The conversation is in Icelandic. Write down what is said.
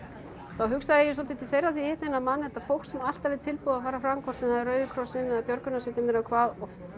þá hugsaði ég svolítið til þeirra þegar ég hitti þennan mann þetta fólk sem alltaf er tilbúið að fara fram hvort sem það er Rauði krossinn eða björgunarsveitir eða hvað